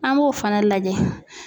An b'o fana lajɛ.